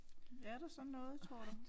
Er der sådan noget tror du?